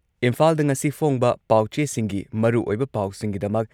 ꯏꯝꯐꯥꯜꯗ ꯉꯁꯤ ꯐꯣꯡꯕ ꯄꯥꯎꯆꯦꯁꯤꯡꯒꯤ ꯃꯔꯨꯑꯣꯏꯕ ꯄꯥꯎꯁꯤꯡꯒꯤꯗꯃꯛ